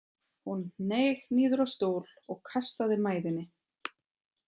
Hún hneig niður á stól og kastaði mæðinni.